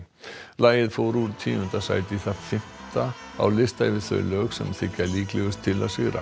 lagið fór úr tíunda sæti í það fimmta á lista yfir þau lög sem þykja líklegust til að sigra